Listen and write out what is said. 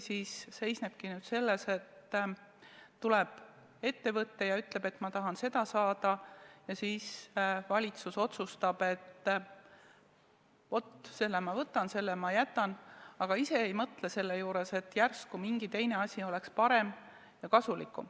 Kas tõesti ongi nüüd nii, et tuleb ettevõte ja ütleb, et ma tahan seda saada, ja siis valitsus otsustab, et vaat selle ma võtan, selle ma jätan, aga ise ei mõtle, et järsku mingi teine lahendus oleks parem ja kasulikum.